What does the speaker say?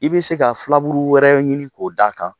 I bɛ se ka filaburu wɛrɛ ɲini k'o d' a kan.